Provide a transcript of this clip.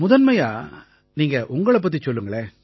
முதன்மையா நீங்க உங்களைப் பத்திச் சொல்லுங்களேன்